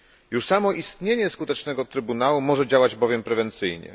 Już samo istnienie skutecznego trybunału może działać prewencyjnie.